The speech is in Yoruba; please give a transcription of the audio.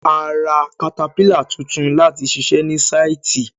A ra katapílà tuntun láti ṣiṣẹ ní sáìtì.